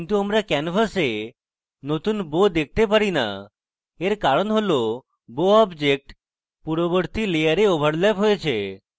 কিন্তু আমরা canvas নতুন bow দেখতে পারি না এর কারণ হল bow object পূর্ববর্তী layer ওভারল্যাপ হয়েছে